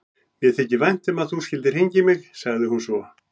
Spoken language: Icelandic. Mér þykir vænt um að þú skyldir hringja í mig, sagði hún svo.